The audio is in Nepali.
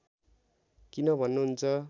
किन भन्नुहुन्छ